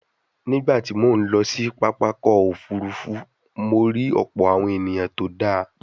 Nígbà tí mo ń lọ sí pápákọ̀ òfuurufú, mo rí ọ̀pọ̀ awon eniyan tó dáa